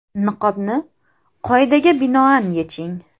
Niqobni qoidaga binoan yeching!